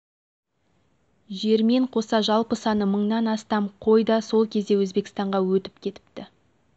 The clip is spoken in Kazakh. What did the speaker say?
жермен қоса жалпы саны мыңнан астам қой да сол кезде өзбекстанға өтіп кетіпті